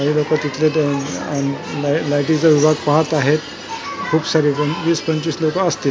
काही लोकं तिथले ते अ लाय लाईटीचा विभाग पाहत आहेत खूप सारे वीस पंचवीस लोकं असतील .